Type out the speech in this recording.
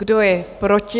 Kdo je proti?